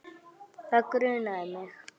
Það grunaði mig.